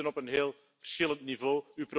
We zitten dus op een heel verschillend niveau.